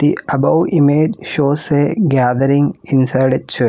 The above image shows a gathering inside a church.